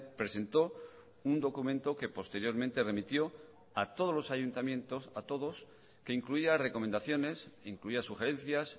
presentó un documento que posteriormente remitió a todos los ayuntamientos a todos que incluía recomendaciones incluía sugerencias